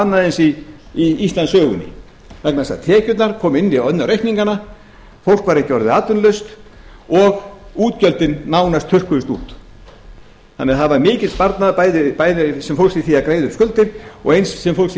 annað eins í íslandssögunni vegna þess að tekjurnar komu inn á reikningana fólk var ekki orðið atvinnulaust og útgjöldin nánast þurrkuðust út það var því mikill sparnaður bæði sem fólst í því að greiða upp skuldir og eins sem fólst